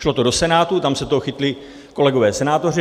Šlo to do Senátu, tam se toho chytli kolegové senátoři.